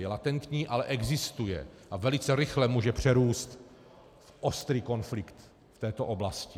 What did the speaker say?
Je latentní, ale existuje a velice rychle může přerůst v ostrý konflikt v této oblasti.